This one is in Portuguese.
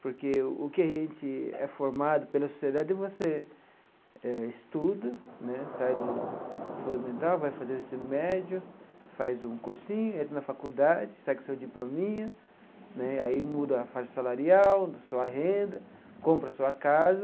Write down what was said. Porque o que a gente é formado pela sociedade, você eh estuda né, sai do fundamental, vai fazer o ensino médio, faz um cursinho, entra na faculdade, sai com seu diplominha né, aí muda a faixa salarial, sua renda, compra sua casa.